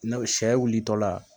sɛ wilitɔ la